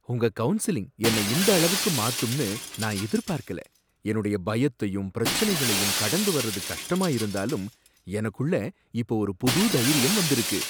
உங்க கவுன்சிலிங் என்னை இந்த அளவுக்கு மாத்தும்னு நான் எதிர்பார்க்கல! என்னோட பயத்தையும் பிரச்சனைகளையும் கடந்து வர்றது கஷ்டமா இருந்தாலும் எனக்குள்ள இப்ப ஒரு புது தைரியம் வந்திருக்கு